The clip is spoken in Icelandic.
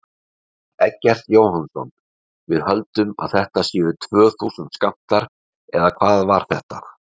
Eggert Jóhannsson: Við höldum að þetta séu tvö þúsund skammtar, eða hvað var þetta?